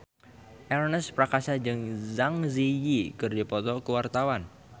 Ernest Prakasa jeung Zang Zi Yi keur dipoto ku wartawan